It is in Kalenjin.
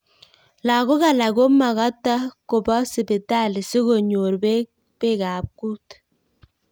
Lagok alak komakata koba sipitali si konyor beekab kut